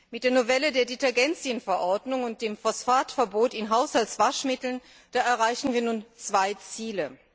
Mit der Novelle der Detergenzienverordnung und dem Phosphatverbot in Haushaltswaschmitteln erreichen wir nun zwei Ziele.